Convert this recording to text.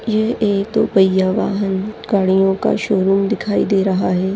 ये एक दो पय्या वाहन गाड़ीयो का शोरूम दिखाई दे रहा है।